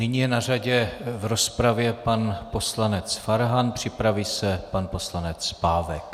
Nyní je na řadě v rozpravě pan poslanec Farhan, připraví se pan poslanec Pávek.